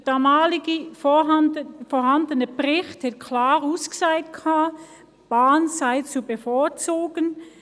Der damals vorhandene Bericht sagte klar aus, die Bahn sei zu bevorzugen.